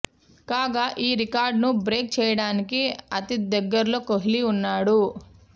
కాగా ఈ రికార్డును బ్రేక్ చేయడానికి అతి దగ్గరలో కోహ్లీ ఉన్నాడు